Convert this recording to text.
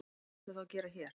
Hvað ertu þá að gera hér?